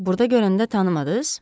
Burda görəndə tanımadız?